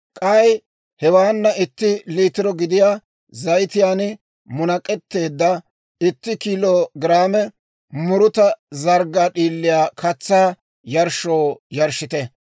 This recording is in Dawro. K'ay hewaana itti liitiro gidiyaa zayitiyaan munak'etteedda itti kiilo giraame muruta zarggaa d'iiliyaa katsaa yarshshoo yarshshite.